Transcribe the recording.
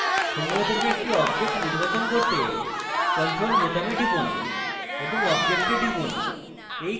সমূহ থেকে একটি object নির্বাচন করতে ctrl বোতাম টিপুন এবং object click করুন